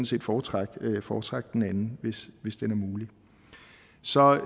set foretrække foretrække den anden hvis den er mulig så